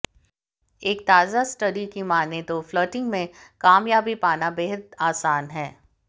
एक ताजा स्टडी की मानें तो फ्लर्टिंग में कामयाबी पाना बेहद आसान है